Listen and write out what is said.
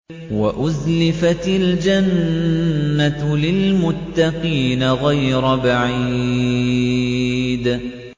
وَأُزْلِفَتِ الْجَنَّةُ لِلْمُتَّقِينَ غَيْرَ بَعِيدٍ